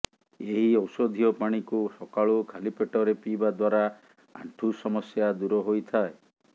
ଏହି ଔଷଧୀୟ ପାଣିକୁ ସକାଳୁ ଖାଲି ପେଟରେ ପିଇବା ଦ୍ୱାରା ଆଣ୍ଠୁ ସମସ୍ୟା ଦୂର ହୋଇଥାଏ